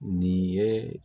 Nin ye